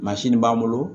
b'an bolo